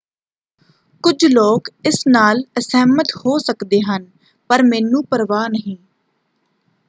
"ਕੁਝ ਲੋਕ ਇਸ ਨਾਲ ਅਸਹਿਮਤ ਹੋ ਸਕਦੇ ਹਨ ਪਰ ਮੈਨੂੰ ਪਰਵਾਹ ਨਹੀਂ।